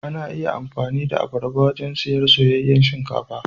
Ana iya amfani da abarba wajen shirya soyayyen shinkafa.